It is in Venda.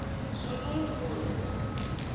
shundunthule